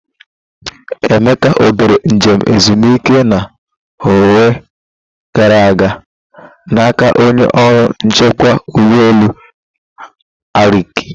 Emeka ọ debere njem ezumike na ọnwa gara aga na aka onye ọrụ nchekwa ụgbọ elu Arik?